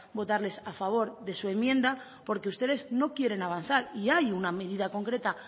votarles a favor de su enmienda porque ustedes no quieren avanzar y hay una medida concreta